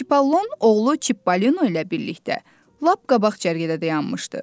Çipallon oğlu Çippolino ilə birlikdə lap qabaq cərgədə dayanmışdı.